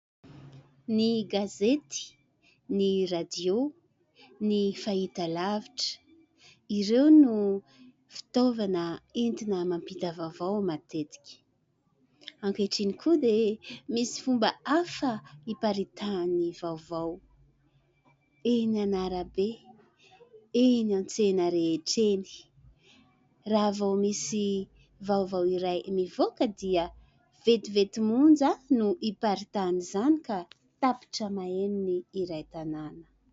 Ny gazety, ny "radio", ny fahitalavitra, ireo no fitaovana entina mampita vaovao matetika. Ankehitriny koa dia misy fomba hafa iparitahan'ny vaovao : eny an'arabe, eny an-tsena rehetra eny. Raha vao misy vaovao iray mivoaka dia vetivety monja no iparitahan'izany ka tapitra maheno ny iray tanàna.